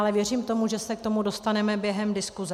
Ale věřím tomu, že se k tomu dostaneme během diskuse.